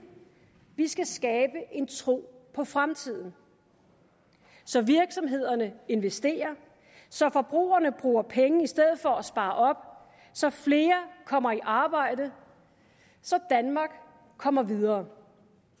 vi skal skabe en tro på fremtiden så virksomhederne investerer så forbrugerne bruger penge i stedet for at spare op så flere kommer i arbejde så danmark kommer videre